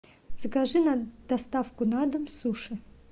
закажи на доставку на дом суши